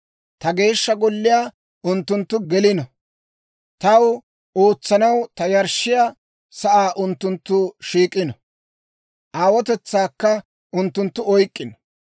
Ta Geeshsha Golliyaa unttunttu gelino; taw ootsanaw ta yarshshiyaa sa'aa unttunttu shiik'ino; aawotetsaakka unttunttu oyk'k'ino.